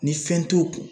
Ni fɛn t'u kun